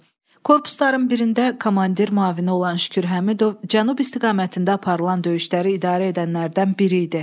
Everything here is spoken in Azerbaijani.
Korpusların birində komandir müavini olan Şükür Həmidov cənub istiqamətində aparılan döyüşləri idarə edənlərdən biri idi.